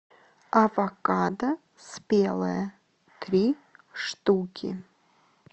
авокадо спелое три штуки